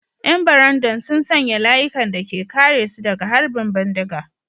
‘Yan barandan sun sanya layukan da ke kare su daga harbin bindiga.